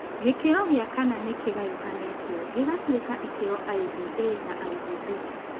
Gĩkĩro gĩa kana nĩ kĩgayũkanĩtio gĩgatuĩka ikĩro IVA na IVB.